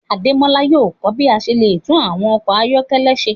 Ademola yóò ko bi a ṣe le tun awọn ọkọ ayọkẹlẹ ṣe